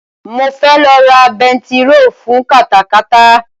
Mo fẹ́ lọ ra bentiro fun katakata